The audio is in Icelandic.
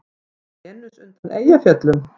Venus undan Eyjafjöllum?